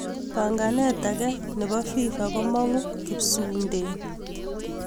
panganeet age chepo Fifa komangu kipsuunteen